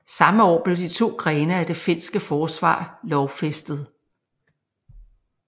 Samme år blev de to grene af det finske forsvar lovfæstet